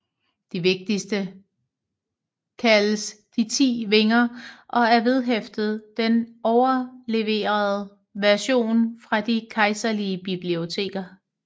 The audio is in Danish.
De vigtigste kaldes De Ti Vinger og er vedhæftet den overleverede version fra de kejserlige biblioteker